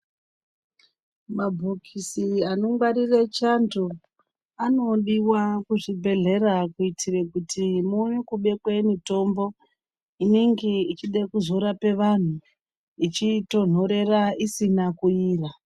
Mabhokisi anongwarire chando anodiwa kuzvibhehlera kuitire kuti muone kubekwe mitombo inenge ichide kuzorape vantu ichitonhorera isina kuniya.